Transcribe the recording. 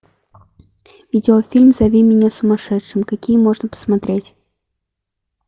видеофильм зови меня сумасшедшим какие можно посмотреть